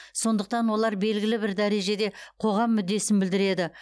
сондықтан олар белгілі бір дәрежеде қоғам мүддесін білдіреді